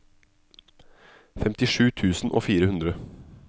femtisju tusen og fire hundre